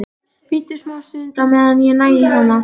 Bíddu smástund á meðan ég næ í hana.